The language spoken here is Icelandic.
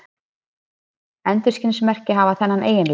Endurskinsmerki hafa þennan eiginleika.